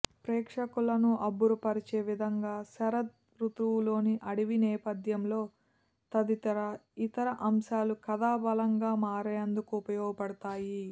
ప్రేక్షకులను అబ్బురపరిచే విధంగా శరద్ బుుతువులోని అడవి నేపథ్యం తదితర ఇతర అంశాలు కథ బలంగా మారేందుకు ఉపయోగ పడుతాయి